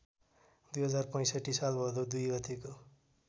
२०६५ साल भदौ २ गतेको